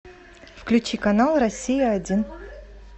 включи канал россия один